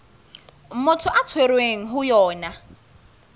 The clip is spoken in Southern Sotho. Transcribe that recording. motho a tshwerweng ho yona